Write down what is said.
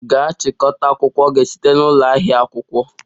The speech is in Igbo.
Gaa chịkọta akwụkwọ gị site na ụlọ ahịa akwụkwọ!